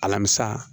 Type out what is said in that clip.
Alamisa